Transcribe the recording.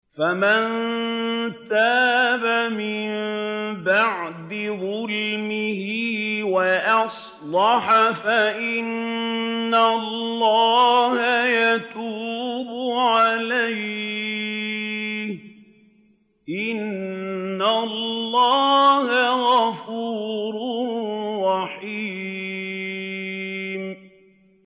فَمَن تَابَ مِن بَعْدِ ظُلْمِهِ وَأَصْلَحَ فَإِنَّ اللَّهَ يَتُوبُ عَلَيْهِ ۗ إِنَّ اللَّهَ غَفُورٌ رَّحِيمٌ